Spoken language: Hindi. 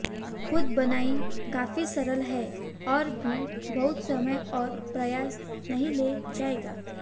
खुद बुनाई काफी सरल है और भी बहुत समय और प्रयास नहीं ले जाएगा